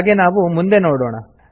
ಹಾಗೆ ನಾವು ಮುಂದೆ ನೋಡೋಣ